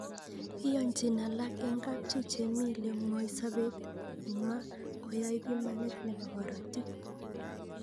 Iyanchin alak eng kapchi che mi le ngoi sapet nywa koai pimanet nepo korotik